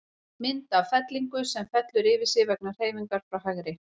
Mynd af fellingu, sem fellur yfir sig vegna hreyfingar frá hægri.